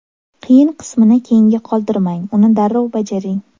Qiyin qismini keyinga qoldirmang, uni darrov bajaring.